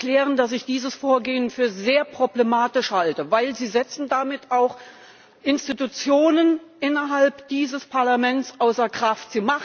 Ich möchte erklären, dass ich dieses Vorgehen für sehr problematisch halte, denn Sie setzen damit auch Institutionen innerhalb dieses Parlaments außer Kraft.